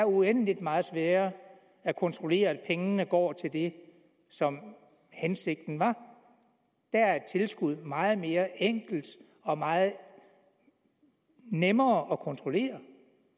uendeligt meget sværere at kontrollere at pengene går til det som er hensigten der er et tilskud meget mere enkelt og meget nemmere at kontrollere